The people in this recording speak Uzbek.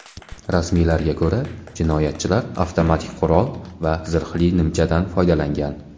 Rasmiylarga ko‘ra, jinoyatchilar avtomatik qurol va zirhli nimchadan foydalangan.